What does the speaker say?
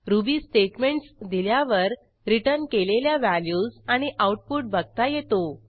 ruby statements दिल्यावर return केलेल्या values आणि आऊटपुट बघता येतो